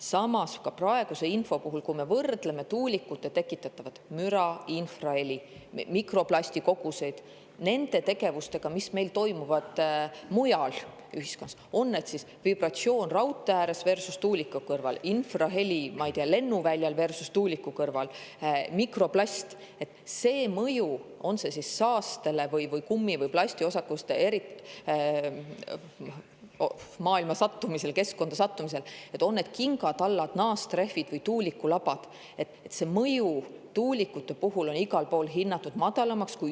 Samas, kui me võrdleme praeguse info alusel tuulikute tekitatud müra, infraheli ja mikroplasti koguseid nende tegevustega, mis meil toimuvad mujal ühiskonnas –, on see siis vibratsioon raudtee ääres versus tuuliku kõrval, infraheli, ma ei tea, lennuväljal versus tuuliku kõrval, mikroplasti mõju, on see siis saastel või kummi- ja plastiosakeste keskkonda sattumisel, on need kingatallad, naastrehvid või tuulikulabad –, on tuulikute mõju igal pool hinnatud madalamaks.